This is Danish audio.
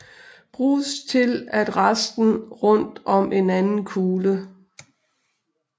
Bruges til at resten rundt om en anden kugle